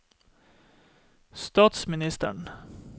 statsministeren